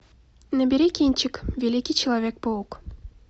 набери кинчик великий человек паук